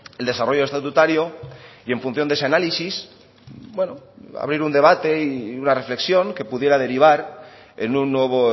el desarrollo estatutario y en función de ese análisis abrir un debate y una reflexión que pudiera derivar en un nuevo